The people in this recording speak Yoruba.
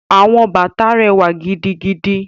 Àwọn bàtà rẹwa gidigidi.